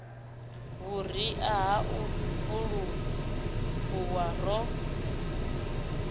vhuria ha u fulufhuwa ro